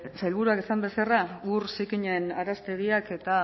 sailburuak esan bezala ur zikinaren araztegiak eta